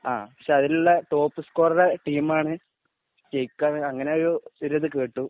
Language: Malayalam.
ആ പക്ഷെ അതിലുള്ള ടോപ് സ്‌കോറർ ടീമാണ് ജയിക്കാന്ന് അങ്ങനെ ഒരിത് കേട്ടു.